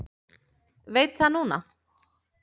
Veit það núna.